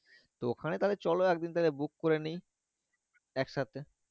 তো ওখানে চলো একদিন book করে নেই একসাথে